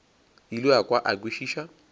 ile a kwa a kwešiša